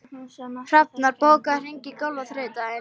Hrafnar, bókaðu hring í golf á þriðjudaginn.